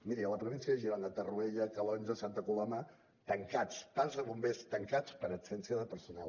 miri a la província de girona torroella calonge santa coloma tancats parcs de bombers tancats per absència de personal